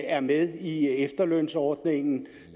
er med i efterlønsordningen